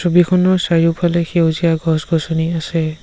ছবিখনৰ চাৰিওফালে সেউজীয়া গছ-গছনি আছে।